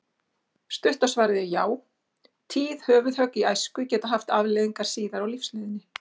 Stutta svarið er já, tíð höfuðhögg í æsku geta haft afleiðingar síðar á lífsleiðinni.